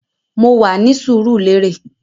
Mo wà ní Surulere lasyt year